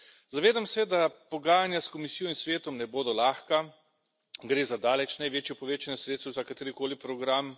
Zavedam se, da pogajanja s Komisijo in Svetom ne bodo lahka, gre za daleč največje povečanje sredstev za katerikoli program.